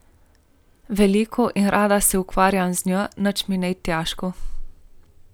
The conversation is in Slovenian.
Veliko in rada se ukvarjam z njo, nič mi ni težko.